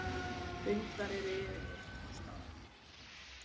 Hundar eru yfirleitt nærsýnir.